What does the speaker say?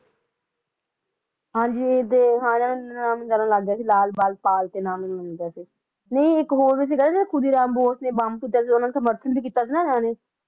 ਹਾਂਜੀ ਤੇ ਨਾਮ ਮਿਲਣ ਲੱਗ ਗਿਆ ਸੀ ਲਾਲ ਬਾਲ ਪਾਲ ਨਾਮ ਮਿਲਣ ਲੱਗ ਗਿਆ ਸੀ ਨਹੀਂ ਇੱਕ ਹੋਰ ਵੀ ਸੀ ਨਾ ਜਿਹੜਾ ਬੋਸ ਨੇ ਬੰਬ ਸੁੱਟਿਆ ਸੀ ਸਮਰਥਨ ਵੀ ਕੀਤਾ ਸੀ ਨਾ ਇਹਨਾਂ ਨੇ